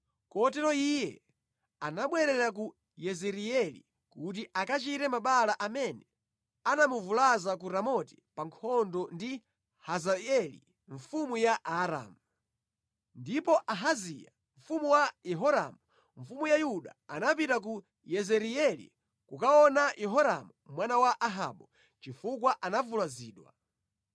kotero iye anabwerera ku Yezireeli kuti akachire mabala amene anamuvulaza ku Ramoti pa nkhondo ndi Hazaeli mfumu ya Aaramu. Ndipo Ahaziya, mwana wa Yehoramu mfumu ya Yuda anapita ku Yezireeli kukaona Yehoramu mwana wa Ahabu chifukwa anavulazidwa.